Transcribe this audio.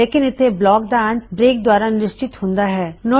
ਲੇਕਿਣ ਇਥੇ ਬਲੌਕ ਦਾ ਅੰਤ ਬ੍ਰੇਕ ਦੁਆਰਾ ਨਿਸ਼ਚਿਤ ਹੂੰਦਾ ਹੈ